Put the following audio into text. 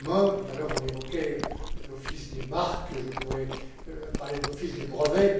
Tout à l'heure, on évoquait l'Office des marques. Je pourrais parler de l'Office des brevets.